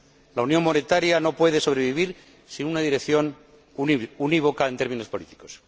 La unión monetaria no puede sobrevivir sin una dirección unívoca en términos políticos.